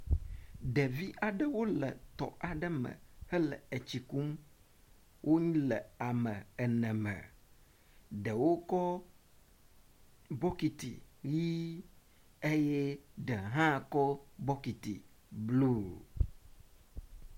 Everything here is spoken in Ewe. Ɖevi aɖewo le tɔ aɖe me hele etsikum. Wo le ame ene me. Ɖewo kɔ bɔkiti ʋi eye ɖe hã kɔ bɔkiti blu.